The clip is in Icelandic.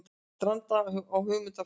Stranda á hugmyndafræðinni